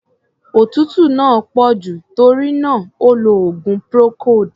Òtútú náà pọ̀ jù, tórí náà, ó lo oògùn procold.